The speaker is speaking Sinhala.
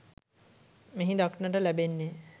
මෙහි දක්නට ලැබෙන්නේ